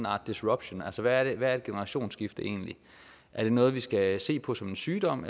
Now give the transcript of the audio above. art disruption altså hvad er et generationsskifte egentlig er det noget vi skal se på som en sygdom